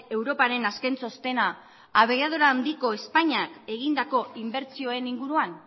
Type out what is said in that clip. europaren azkentxostena abiadura handiko espainiak egindako inbertsioen inguruan